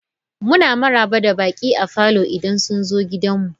Muna maraba da baƙi a falo idan sun zo gidanmu.